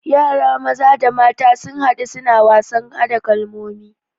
Yara maza da mata sun hadu suna wasan hada kalmomi